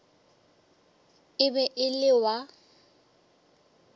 e be e le wa